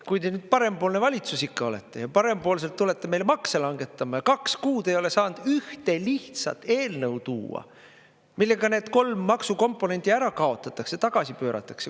Kui te nüüd parempoolne valitsus ikka olete ja parempoolselt tulete meile makse langetame ja kaks kuud ei ole saanud ühte lihtsat eelnõu tuua, millega need kolm maksukomponenti ära kaotatakse, tagasi pööratakse …